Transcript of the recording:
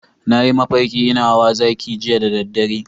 Na yi mafarki ina hawa zaki jiya da dare.